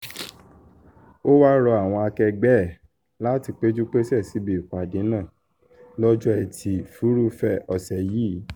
o wáá rọ àwọn akẹgbẹ́ ẹ láti péjú-pèsè síbi ìpàdé náà lọ́jọ́ etí furuufee ọ̀sẹ̀ yìí